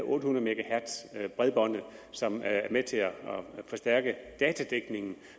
otte hundrede megahertz bredbåndet som er med til at forstærke datadækningen